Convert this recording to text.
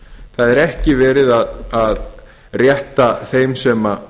það er ekki verið að rétta þeim sem